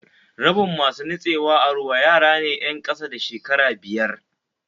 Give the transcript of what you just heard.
Rabin masu nutsuwa a ruwa yarane 'yen kasa da shekara biyar